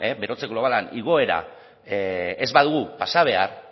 berotze globalean igoera ez badugu pasa behar